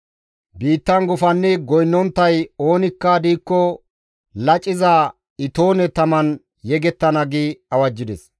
Biittan gufannidi goynnonttay oonikka diikko laciza itoone taman yegettana» gi awajjides.